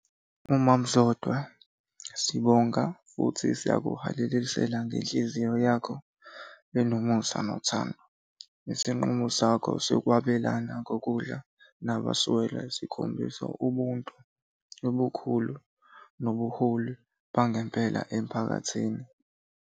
UMama uZodwa sibonga futhi siyakuhalalisela ngenhliziyo yakho enonomusa nothando. Isinqumo sakho sokwabelana ngokudla nabaswele sikhombisa ubuntu obukhulu nobuholi bangempela emphakathini.